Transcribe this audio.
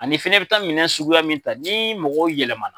Ani fɛnɛ i bi taa minɛn suguya min ta, ni mɔgɔw yɛlɛma na